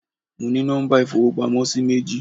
Mo ní nọ́mbà ìfowópamósí méjì